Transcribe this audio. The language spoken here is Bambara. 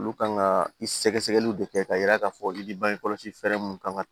Olu kan ka i sɛgɛsɛgɛliw de kɛ k'a yira k'a fɔ i bi bangekɔlɔsi fɛɛrɛ mun kan ka